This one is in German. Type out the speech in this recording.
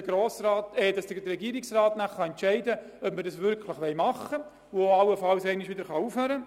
Der Regierungsrat kann entscheiden, ob eine Mitfinanzierung erfolgt und wie lange sie dauert.